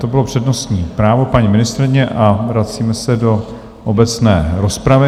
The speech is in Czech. To bylo přednostní právo paní ministryně a vracíme se do obecné rozpravy.